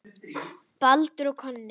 Baldur og Konni